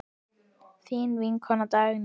Þín vinkona Dagný.